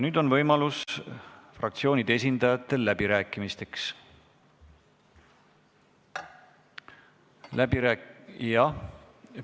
Nüüd on fraktsioonide esindajatel võimalus läbi rääkida.